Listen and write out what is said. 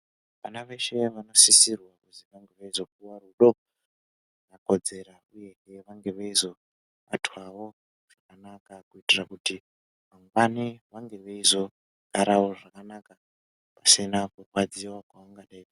Vana veshe vanosisirwa kuzi vange veizopuwa rudo rwakakodzera uyezve vange veizobatwawo zvakanaka kuitira kuti mangwani vange veizogarawo zvakanaka pasina kurwadziwa kwavangadei.